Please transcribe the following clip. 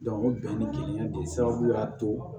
o bɛn ni kelen de sababu y'a to